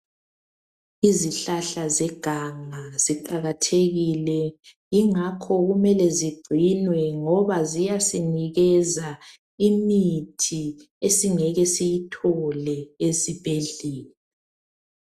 Izihlahla zeganga ziqakathekile, yingakho kumele zigcinwe ngoba ziyasinikeza imithi esingeke siyithole esibhedlela.